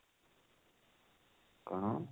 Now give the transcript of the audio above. କଣ?